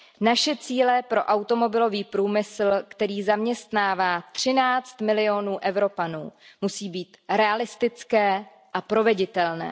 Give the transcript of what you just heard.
Naše cíle pro automobilový průmysl, který zaměstnává 13 milionů Evropanů, musí být realistické a proveditelné.